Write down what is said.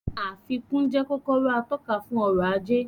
Àfikún jẹ́ kọ́kọ́rọ́ atọ́ka fún ọrọ̀ ajé